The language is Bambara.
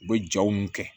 U bɛ jaw kɛ